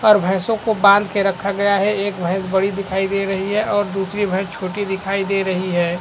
और भैंसो को बांध कर रखा गया है एक भैंस बड़ी दिखाई दे रही है और दूसरी भैंस छोटी दिखाई दे रही हैं।